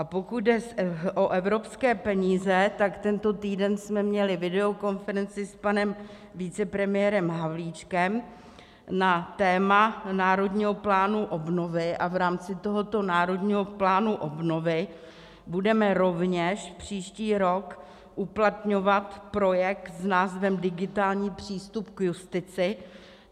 A pokud jde o evropské peníze, tak tento týden jsme měli videokonferenci s panem vicepremiérem Havlíčkem na téma Národního plánu obnovy a v rámci tohoto Národního plánu obnovy budeme rovněž příští rok uplatňovat projekt s názvem Digitální přístup k justici.